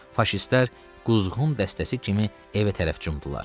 Faşistlər quzğun dəstəsi kimi evə tərəf cumdular.